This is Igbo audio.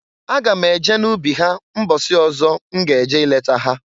Aga m eje n'ubi ha mbọsị ọzọ m ga-eje ileta ha.